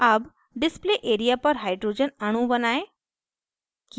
अब display area पर hydrogen अणु बनायें